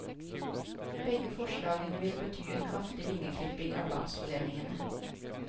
Begge forslagene vil bety en kraftig vingeklipping av landsforeningene.